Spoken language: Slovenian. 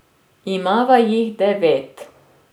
Imava jih devet.